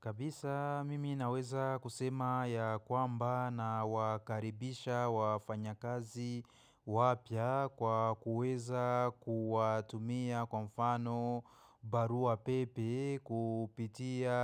Kabisa mimi naweza kusema ya kwamba na wakaribisha wafanya kazi wapya kwa kuweza kuwatumia kwa mfano barua pepe kupitia